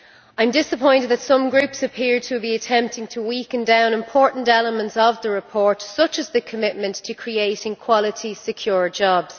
I am disappointed that some groups appear to be attempting to water down important elements of the report, such as the commitment to creating quality, secure jobs.